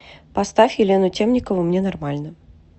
поставь елену темникову мне нормально